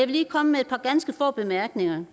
lige komme med et par ganske få bemærkninger